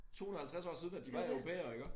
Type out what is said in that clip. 250 år siden at de var europæere iggå